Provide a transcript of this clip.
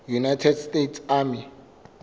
united states army